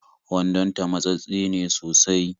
Wandonta matsattse ne sosai